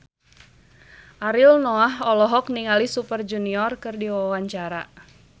Ariel Noah olohok ningali Super Junior keur diwawancara